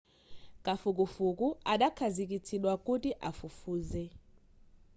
kafukufuku adakhazikitsidwa kuti afufuze